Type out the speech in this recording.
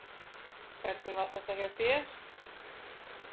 Hvernig var þetta hjá þér?